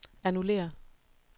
annullér